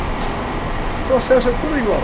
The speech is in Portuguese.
O processo é tudo igual.